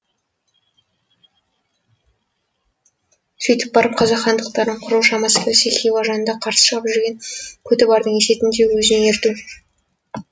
сөйтіп барып қазақ хандықтарын құру шамасы келсе хиуа ханына қарсы шығып жүрген көтібардың есетін де өзіне ерту